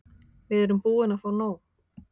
Við erum búin að fá nóg.